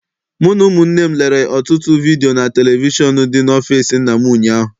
Mụ na ụmụnne m lerere ọtụtụ vidiyo na televishọn dị n'ọfịịsi nna m ụnyaahụ.